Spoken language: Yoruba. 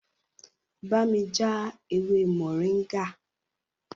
Bámi já ewé moringa!